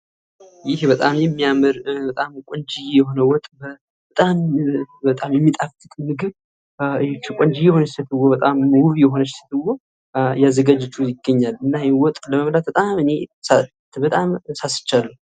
ይህ በጣም የሚያምር በጣም ቆንጅዬ የሆነ ወጥ በጣም የሚጣፍጥ ምግብ ቆንጂዬ የሆነች ሲትዮ በጣም ዉብ የሆነች ሴትዮ እያዘጋጀችው ይገኛል። እና ይህን ወጥ ለመብላት እኔ በጣም ሳስቻለሁ።